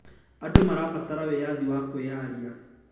Andũ marabatara wĩyathi wa kwĩyaria.